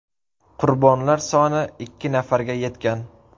Qurbonlar soni ikki nafarga yetgan.